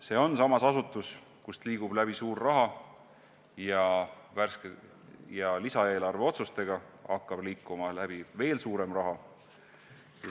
Samas on see asutus, kust liigub läbi suur raha, ja lisaeelarve otsustega hakkab liikuma läbi selle veel suurem raha.